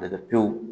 A kɛ pewu